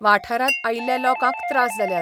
वाठारांत आयिल्ल्या लोकांक त्रास जाल्यात.